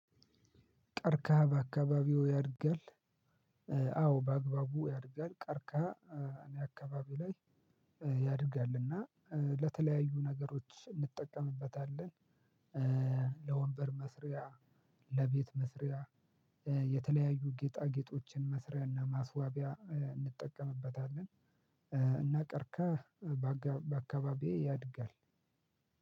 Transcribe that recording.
ቀርካሃ በአካባቢው ያድጋል አዎ በአግባቡ ያድጋል ቀርካህ እኔ አካባቢ ላይ ያድጋልና ለተለያዩ ነገሮች እንጠቀምበታለን ለወንበር መስሪያ፤ ለቤት መስሪያ፤ የተለያዩ ጌጣጌጦችን መስሪያና ማስዋቢያ እንጠቀምበታለን። እና ቀርከሃ በአካባቢዬ ያድጋል።